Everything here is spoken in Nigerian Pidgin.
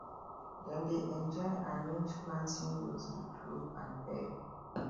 dem dey enjoy arrange planting rows with rope and peg